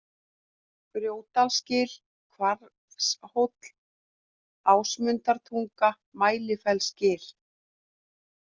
Grjótdalsgil, Hvarfshóll, Ásmundartunga, Mælifellsgil